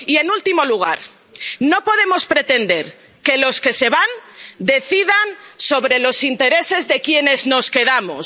Y, en último lugar, no podemos pretender que los que se van decidan sobre los intereses de quienes nos quedamos.